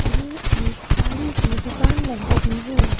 ये एक साड़ी की दुकान लग रही है।